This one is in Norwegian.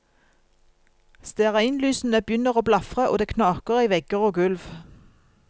Stearinlysene begynner å blafre og det knaker i vegger og gulv.